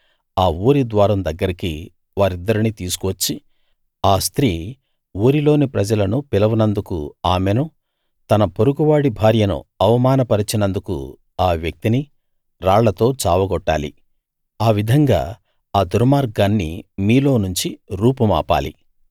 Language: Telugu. ఆ ఊరి ద్వారం దగ్గరికి వారిద్దరినీ తీసుకువచ్చి ఆ స్త్రీ ఊరిలోని ప్రజలను పిలవనందుకు ఆమెనూ తన పొరుగువాడి భార్యను అవమాన పరచినందుకు ఆ వ్యక్తినీ రాళ్లతో చావగొట్టాలి ఆ విధంగా ఆ దుర్మార్గాన్ని మీలోనుంచి రూపుమాపాలి